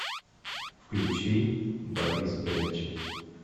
включи борис брэйча